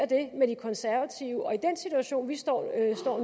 det med de konservative og i den situation vi står i